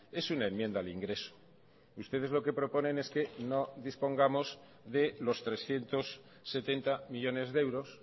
es una enmienda al ingreso ustedes lo que proponen es que no dispongamos de los trescientos setenta millónes de euros